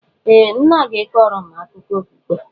Ee! Nne gị kọọrọ m akụkọ okpukpe.